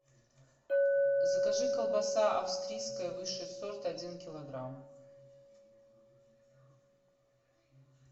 закажи колбаса австрийская высший сорт один килограмм